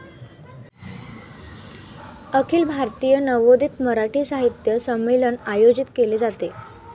अखिल भारतीय नवोदित मराठी साहित्य संमेलन आयोजित केले जाते.